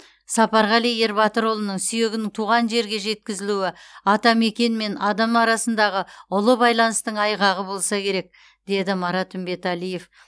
сапарғали ербатырұлының сүйегінің туған жеріне жеткізілуі атамекен мен адам арасындағы ұлы байланыстың айғағы болса керек деді марат үмбетәлиев